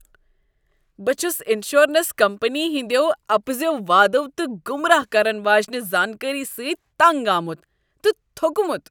بہٕ چُھس insurance company ہٕندیو اپزیو وادَو تہٕ گمراہ کرن واجنِہ زانکٲری سۭتۍ تنگ آمت تہٕ تھوٚکمُت۔